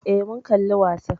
Eh, mun kalli wasan